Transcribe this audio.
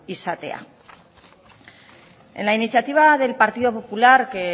izatea en la iniciativa del partido popular que